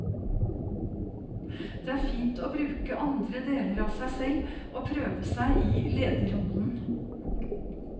Det er fint å bruke andre deler av seg selv og prøve seg i lederrollen.